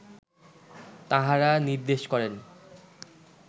তাঁহারা নির্দেশ করেন